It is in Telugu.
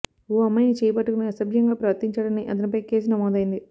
ఓ అమ్మాయిని చేయి పట్టుకొని అసభ్యంగా ప్రవర్తించాడని అతనిపై కేసు నమోదైంది